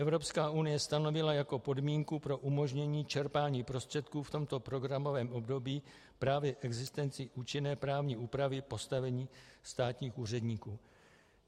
Evropská unie stanovila jako podmínku pro umožnění čerpání prostředků v tomto programovém období právě existenci účinné právní úpravy postavení státních úředníků.